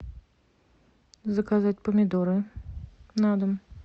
заказать помидоры на дом